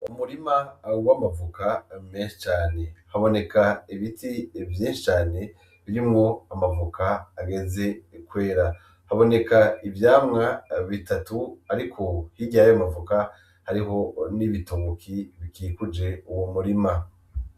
Umurima wamavoka menshi cane, haboneka ibiti vyinshi cane birimwo amavoka ageze kwera. Haboneka ivyamwa bitatu. Ariko hirya yayo mavoka harihi n'ibitoke bikikuje uwo murima.